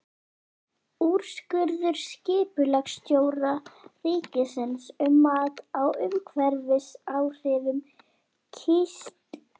Úrskurður skipulagsstjóra ríkisins um mat á umhverfisáhrifum kísilgúrvinnslu úr Mývatni.